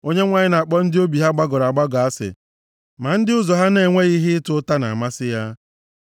Onyenwe anyị na-akpọ ndị obi ha gbagọrọ agbagọ asị ma ndị ụzọ ha na-enweghị ihe ịta ụta na-amasị ya.